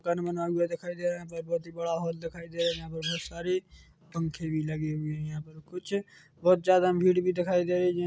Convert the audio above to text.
मकान बना हुआ दिखाई दे रहा है यहाँ पर बहुत बड़ा हॉल दिखाई दे रहा है यहाँ पर कुछ पंखे भी लगे हुए है यहाँ पर कुछ बहुत जाड़ा भीड़ भी दिखाई दे रही है।